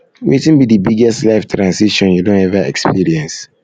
wetin be di biggest life transition you don ever experience